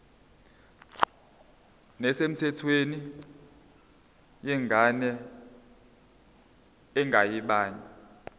nesemthethweni yengane engeyabanye